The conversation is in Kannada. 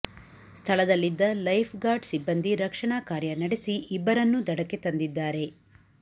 ಸ್ಥಳದಲ್ಲಿದ್ದ ಲೈಫ್ ಗಾರ್ಡ್ ಸಿಬ್ಬಂದಿ ರಕ್ಷಣಾ ಕಾರ್ಯ ನಡೆಸಿ ಇಬ್ಬರನ್ನೂ ದಡಕ್ಕೆ ತಂದಿದ್ದಾರೆ